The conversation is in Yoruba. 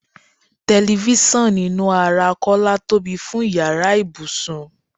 Telifisan inú ara Kọ́lá tóbi fún ìyára ibùsùn.